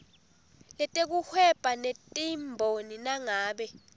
letekuhweba netimboni nangabe